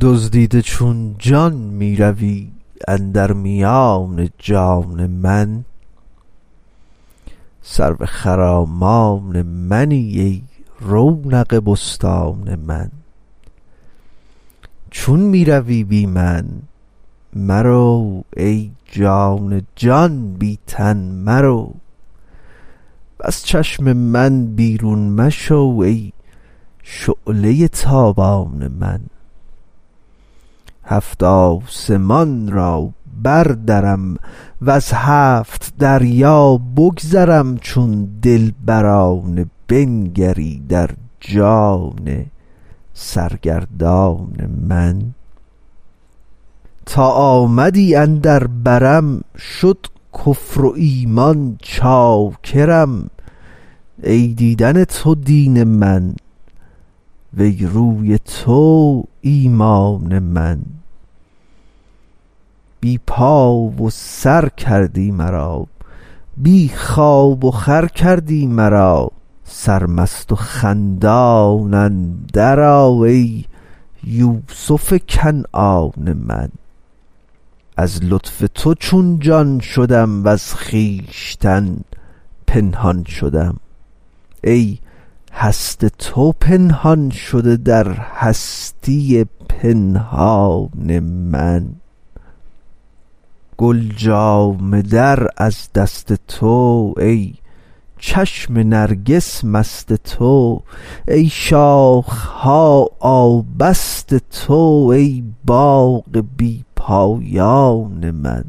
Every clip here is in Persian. دزدیده چون جان می روی اندر میان جان من سرو خرامان منی ای رونق بستان من چون می روی بی من مرو ای جان جان بی تن مرو وز چشم من بیرون مشو ای شعله ی تابان من هفت آسمان را بردرم وز هفت دریا بگذرم چون دلبرانه بنگری در جان سرگردان من تا آمدی اندر برم شد کفر و ایمان چاکرم ای دیدن تو دین من وی روی تو ایمان من بی پا و سر کردی مرا بی خواب وخور کردی مرا سرمست و خندان اندرآ ای یوسف کنعان من از لطف تو چون جان شدم وز خویشتن پنهان شدم ای هست تو پنهان شده در هستی پنهان من گل جامه در از دست تو ای چشم نرگس مست تو ای شاخ ها آبست تو ای باغ بی پایان من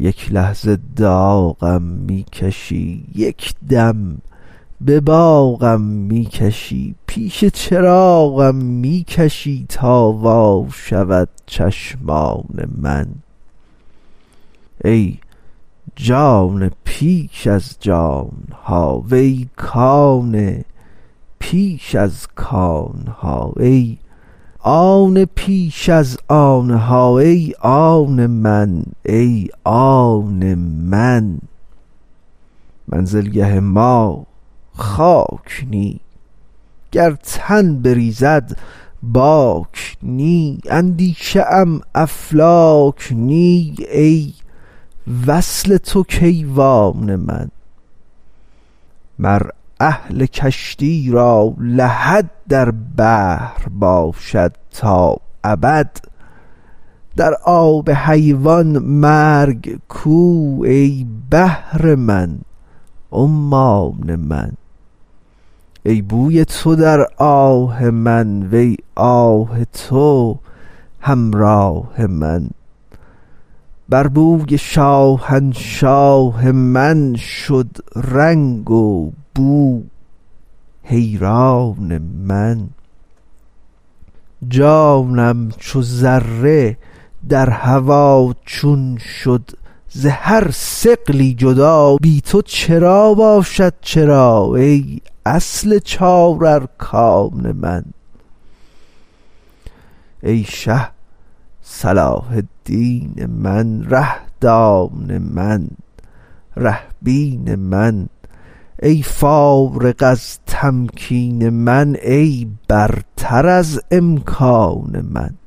یک لحظه داغم می کشی یک دم به باغم می کشی پیش چراغم می کشی تا وا شود چشمان من ای جان پیش از جان ها وی کان پیش از کان ها ای آن پیش از آن ها ای آن من ای آن من منزلگه ما خاک نی گر تن بریزد باک نی اندیشه ام افلاک نی ای وصل تو کیوان من مر اهل کشتی را لحد در بحر باشد تا ابد در آب حیوان مرگ کو ای بحر من عمان من ای بوی تو در آه من وی آه تو همراه من بر بوی شاهنشاه من شد رنگ وبو حیران من جانم چو ذره در هوا چون شد ز هر ثقلی جدا بی تو چرا باشد چرا ای اصل چار ارکان من ای شه صلاح الدین من ره دان من ره بین من ای فارغ از تمکین من ای برتر از امکان من